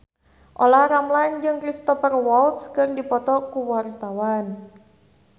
Olla Ramlan jeung Cristhoper Waltz keur dipoto ku wartawan